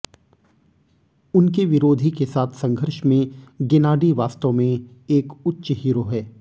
उनके विरोधी के साथ संघर्ष में गेनाडी वास्तव में एक उच्च हीरो है